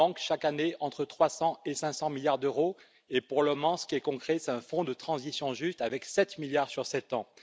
Il manque chaque année entre 300 et 500 milliards d'euros et, pour le moment, ce qui est concret, c'est un fonds pour une transition juste avec 7 milliards sur sept ans.